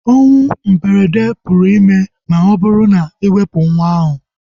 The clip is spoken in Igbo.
Onwụ mberede pụrụ ime ma ọ bụrụ na iwepu nwa ahu